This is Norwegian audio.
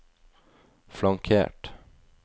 flankert